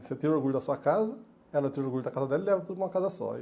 Você tem o orgulho da sua casa, ela tem o orgulho da casa dela e leva tudo para uma casa só.